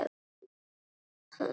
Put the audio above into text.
Engin svör.